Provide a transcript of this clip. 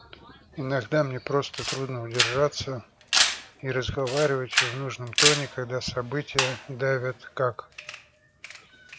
иногда мне просто трудно удержаться и разговаривать в нужном тоне когда события давят как